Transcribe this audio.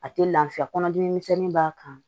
A tɛ lafiya kɔnɔdimi misɛnnin b'a kan